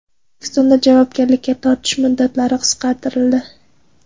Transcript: O‘zbekistonda javobgarlikka tortish muddatlari qisqartirildi.